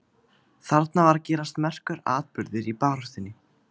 Þarna var að gerast merkur atburður í baráttunni.